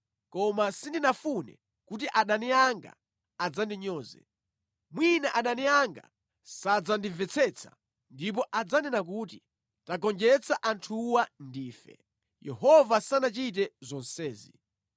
koma sindinafune kuti adani anga adzandinyoze, mwina adani anga sadzandimvetsetsa ndipo adzanena kuti, ‘Tagonjetsa anthuwa ndife; Yehova sanachite zonsezi.’ ”